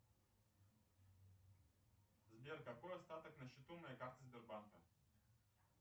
сбер какой остаток на счету моей карты сбербанка